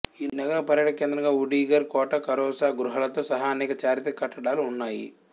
ఈ నగరం పర్యాటక కేంద్రంగా ఉడ్గిర్ కోట ఖరోసా గుహలతో సహా అనేక చారిత్రక కట్టడాలు ఉన్నాయి